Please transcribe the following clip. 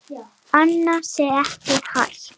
Annað sé ekki hægt.